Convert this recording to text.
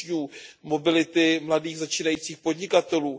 učňů, mobility mladých začínajících podnikatelů.